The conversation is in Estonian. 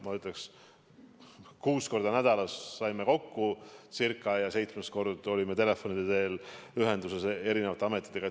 Ma ütleks, et ca kuus korda nädalas saime kokku ja seitsmes kord olime telefoni teel ühenduses eri ametitega.